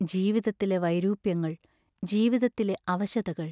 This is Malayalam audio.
ജീവിതത്തിലെ വൈരൂപ്യങ്ങൾ ജീവിതത്തിലെ അവശതകൾ!